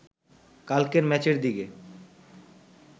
কালকের ম্যাচের দিকে